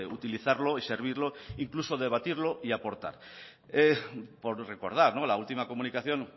utilizarlo y servirlo incluso debatirlo y aportar por recordar la última comunicación